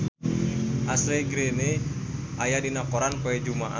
Ashley Greene aya dina koran poe Jumaah